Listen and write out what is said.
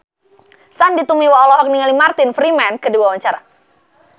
Sandy Tumiwa olohok ningali Martin Freeman keur diwawancara